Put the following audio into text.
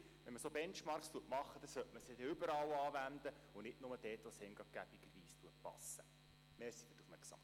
Sprich: Wenn man solche Benchmarks erhebt, sollte man sie überall anwenden und nicht nur dort, wo es einem praktischerweise gerade passt.